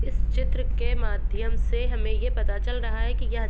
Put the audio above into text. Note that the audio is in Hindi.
इस चित्र के माध्यम से हमें ये पता चल रहा है कि यह --